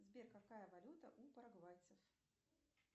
сбер какая валюта у парагвайцев